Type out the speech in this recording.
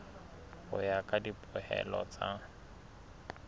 ho ya ka dipehelo tsa